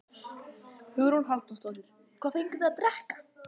Hugrún Halldórsdóttir: Hvað fenguð þið að drekka?